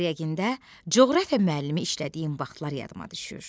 Qaryagində coğrafiya müəllimi işlədiyim vaxtlar yadıma düşür.